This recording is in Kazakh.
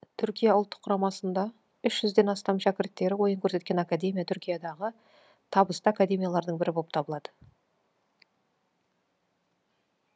түркия ұлттық құрамасында үш жүзден астам шәкірттері ойын көрсеткен академия түркиядағы табысты академиялардың бірі болып табылады